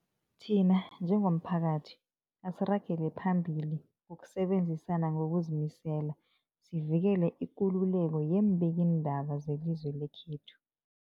Thina njengomphakathi, asiragele phambili ngokusebenzisana ngokuzimisela sivikele ikululeko yeembikiindaba zelizwe lekhethu.